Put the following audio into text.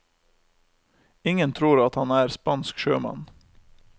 Ingen tror at han er spansk sjømann.